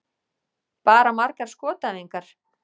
Bara margar skotæfingar.